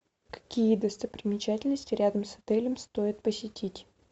какие достопримечательности рядом с отелем стоит посетить